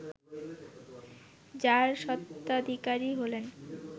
যার স্বত্বাধিকারী হলেন